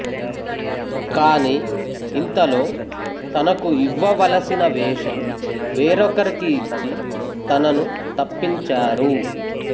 కానీ ఇంతలో తనకు ఇవ్వవలసిన వేషం వేరొకరికి ఇచ్చి తనను తప్పించారు